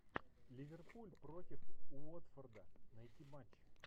ливерпуль против уотфорда найти матч